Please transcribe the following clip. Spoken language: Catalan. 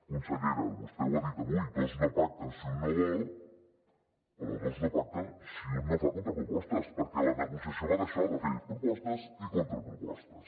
consellera vostè ho ha dit avui dos no pacten si un no vol però dos no pacten si un no fa contrapropostes perquè la negociació va d’això de fer propostes i contrapropostes